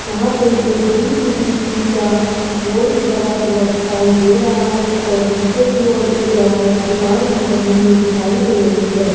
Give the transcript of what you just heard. यहां पे एक डी_टी_टी_सी का बोर्ड भी लगा हुआ दिखाई दे रहा है और नीचे की ओर एक दवाई की दुकान भी बनी हुई दिखाई दे रही है।